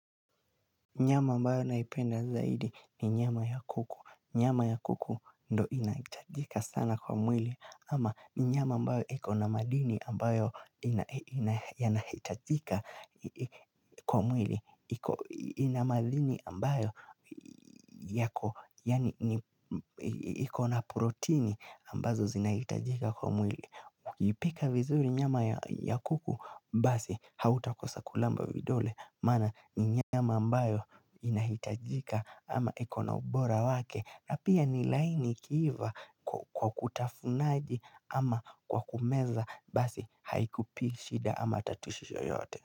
Nyama ambayo naipenda zaidi ni nyama ya kuku. Nyama ya kuku ndo inahitajika sana kwa mwili ama nyama ambayo ikona madini ambayo yanahitajika kwa mwili. Iko ina madini ambayo yako Yani ikona proteini ambazo zinahitajika kwa mwili. Ukipika vizuri nyama ya kuku Basi hautakosa kulamba vidole Maana ni nyama ambayo inahitajika ama iko na ubora wake na pia ni laini ikiiva kwa kutafunaji ama kwa kumeza Basi haikupi shida ama tatushisho yote.